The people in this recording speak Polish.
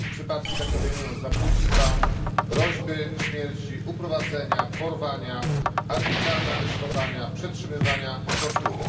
Przypadki takie obejmują zabójstwa, groźby śmierci, uprowadzenia, porwania, arbitralne aresztowania, przetrzymywania, tortury.